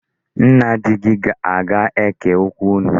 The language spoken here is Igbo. Nna di gị aga-eke okwu unu?